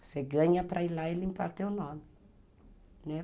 Você ganha para ir lá e limpar teu nome.